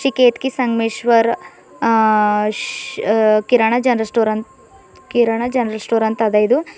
ಕೆದ್ಕಿ ಸಂಗಮೇಶ್ವರ್ ಅ ಶ್ kirana general store ಅಂತ್ ಕಿರಾಣ ಜನರಲ್ ಸ್ಟೋರ್ ಅಂತ ಅದ ಇದು.